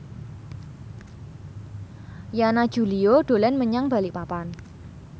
Yana Julio dolan menyang Balikpapan